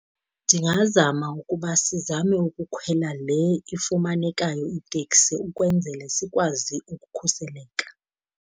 Ndingazama ukuba sizame ukukhwela le ifumanekayo iteksi ukwenzele sikwazi ukukhuseleka.